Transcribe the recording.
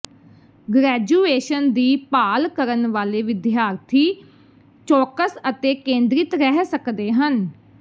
graduation ਦੀ ਭਾਲ ਕਰਨ ਵਾਲੇ ਵਿਦਿਆਰਥੀ ਚੌਕਸ ਅਤੇ ਕੇਂਦ੍ਰਿਤ ਰਹਿ ਸਕਦੇ ਹਨ